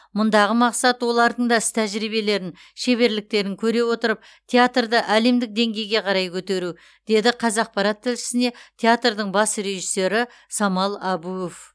мұндағы мақсат олардың да іс тәжірибелерін шеберліктерін көре отырып театрды әлемдік деңгейге қарай көтеру деді қазақпарат тілшісіне театрдың бас режиссері самал әбуов